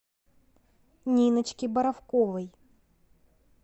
ниночке боровковой